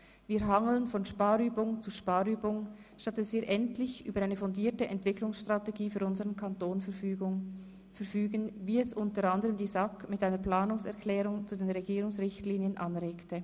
Wir hangeln von Sparübung zu Sparübung, statt dass wir endlich über eine fundierte Entwicklungsstrategie für unsern Kanton verfügen, wie es u.a. die SAK mit einer Planungserklärung zu den Regierungsrichtlinien anregte.